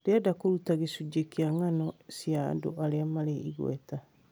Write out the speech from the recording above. Ndĩrenda kũruta gĩcunjĩ kĩgiĩ ng'ano cia andũ arĩa marĩ igweta